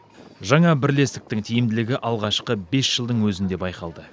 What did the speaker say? жаңа бірлестіктің тиімділігі алғашқы бес жылдың өзінде байқалды